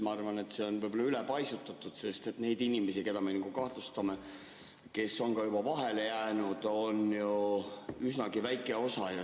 Ma arvan, et see on ülepaisutatud, sest neid inimesi, keda me kahtlustame ja kes on ka juba vahele jäänud, on ju üsnagi väike osa.